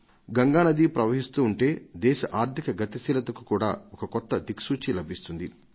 గంగా నది ప్రవహిస్తూ ఉంటే దేశ ఆర్థిక గతిశీలతకు కూడా ఒక కొత్త దిక్సూచి లభిస్తుంది